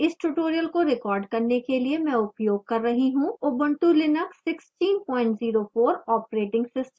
इस tutorial को record करने के लिए मैं उपयोग कर रही हूँ ubuntu linux 1604 operating system